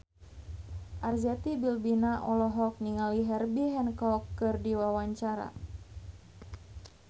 Arzetti Bilbina olohok ningali Herbie Hancock keur diwawancara